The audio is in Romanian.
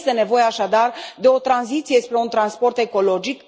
Este nevoie, așadar, de o tranziție spre un transport ecologic